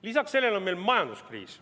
Lisaks sellele on meil majanduskriis.